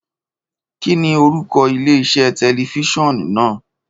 Kíni orúkọ ilé-iṣẹ́ tẹlifíṣọ̀n náà?